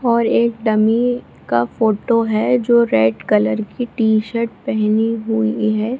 और एक डमी की फोटो है जो रेड कलर की टी-शर्ट पहनी हुई है ।